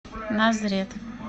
назрет